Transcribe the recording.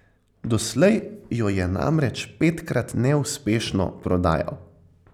Doslej jo je namreč petkrat neuspešno prodajal.